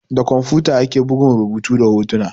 Da kwamfuta ake bugun rubutu da hotuna.